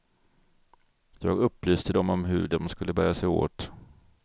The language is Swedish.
Jag upplyste dem om hur de skulle bära sig åt.